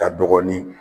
Ka dɔɔnin